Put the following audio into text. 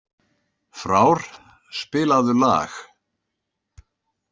Frár, spilaðu lag.